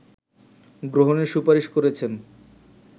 গ্রহণের সুপারিশ করেছেন